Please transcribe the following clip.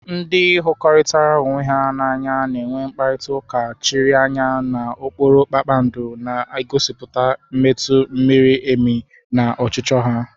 Ndị hụrikotara onwe ha n'anya na-enwe mkparịta ụka chiri anya n'okpuru kpakpando, na-egosipụta mmetụta miri emi na ọchịchọ ha.